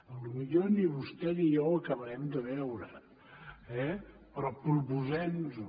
potser ni vostè ni jo ho acabarem de veure eh però proposem nos ho